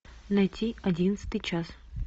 найти одиннадцатый час